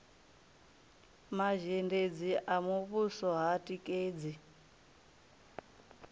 mazhendedzi a muvhuso ha tikedzi